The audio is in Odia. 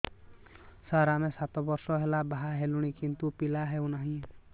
ସାର ଆମେ ସାତ ବର୍ଷ ହେଲା ବାହା ହେଲୁଣି କିନ୍ତୁ ପିଲା ହେଉନାହିଁ